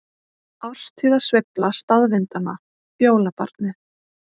Árstíðasveifla staðvindanna- jólabarnið